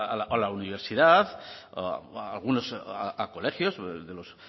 a la universidad a algunos colegios de los